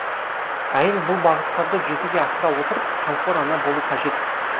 әйел бұл бағыттарды жүзеге асыра отырып қамқор ана болу қажет